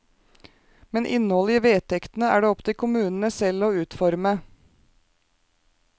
Men innholdet i vedtektene er det opp til kommunene selv å utforme.